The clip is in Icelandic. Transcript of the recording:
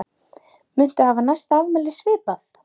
Muntu hafa næsta afmæli svipað?